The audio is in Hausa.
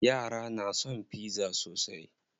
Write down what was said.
Yara na son pizza sosai.